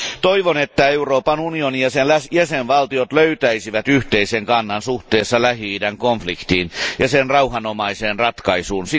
Toivon, että Euroopan unioni ja sen jäsenvaltiot löytäisivät yhteisen kannan suhteessa Lähi idän konfliktiin ja sen rauhanomaiseen ratkaisuun.